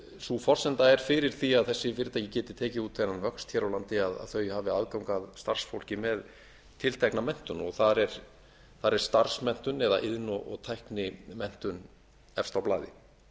sú forsenda er fyrir því að þessi fyrirtæki geti tekið út þennan vöxt hér á landi að þau hafi aðgang að starfsfólki með tiltekna menntun og þar er starfsmenntun eða iðn og tæknimenntun efst á blaði